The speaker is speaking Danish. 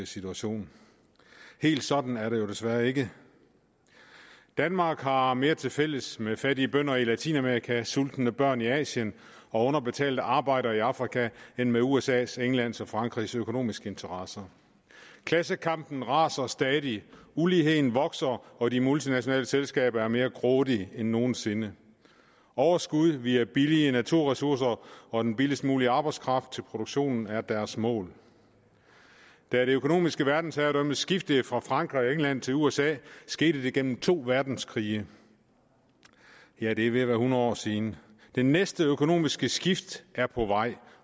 situation helt sådan er det jo desværre ikke danmark har mere tilfælles med fattige bønder i latinamerika sultende børn i asien og underbetalte arbejdere i afrika end med usas englands og frankrigs økonomiske interesser klassekampen raser stadig uligheden vokser og de multinationale selskaber er mere grådige end nogen sinde overskud via billige naturressourcer og den billigst mulige arbejdskraft til produktionen er deres mål da det økonomiske verdensherredømme skiftede fra frankrig og england til usa skete det gennem to verdenskrige ja det er ved at være hundrede år siden det næste økonomiske skift er på vej